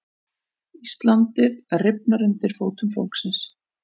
Íslandið rifnar undir fótum fólksins